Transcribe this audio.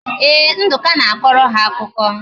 Ee, Nduka na-akọrọ ha akụkọ